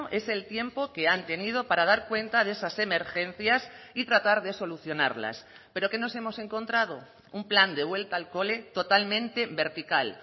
es el tiempo que han tenido para dar cuenta de esas emergencias y tratar de solucionarlas pero qué nos hemos encontrado un plan de vuelta al cole totalmente vertical